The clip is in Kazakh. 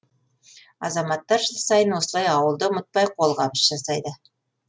азаматтар жыл сайын осылай ауылды ұмытпай қолғабыс жасайды